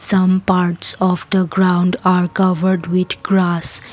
some parts of the ground are covered with grass.